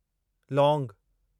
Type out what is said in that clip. लौंगु